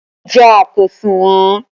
Ìjà kò sunwon